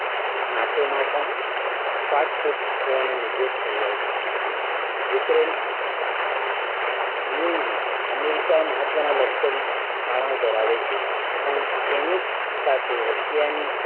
NATO માં પણ ફાટફૂટ હોવાનો નિર્દેશ કાર્ય છે. યુક્રેઇન UAE માં અમેરિકા મહત્વના લશ્કરી થાણાઓ ધરાવે છે. પણ તેની જ સાથે રશિયાની